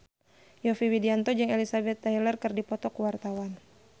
Yovie Widianto jeung Elizabeth Taylor keur dipoto ku wartawan